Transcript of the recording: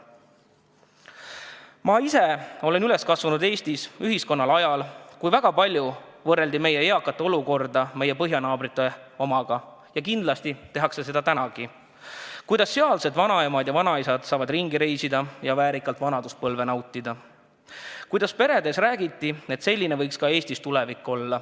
Ma ise olen Eesti ühiskonnas üles kasvanud ajal, kui meie eakate olukorda võrreldi väga palju meie põhjanaabrite omaga – ja kindlasti tehakse seda tänagi –, et kuidas sealsed vanaemad ja vanaisad saavad ringi reisiga ja väärikalt vanaduspõlve nautida, ning kuidas peredes räägiti, et selline võiks olla ka Eestis tulevik.